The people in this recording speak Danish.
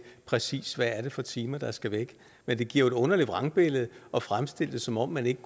præcis er for timer der skal væk men det giver jo et underligt vrangbillede at fremstille det som om man ikke